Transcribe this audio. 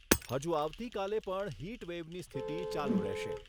હજુ આવતીકાલે પણ હિટવેવની સ્થિતિ ચાલુ રહેશે.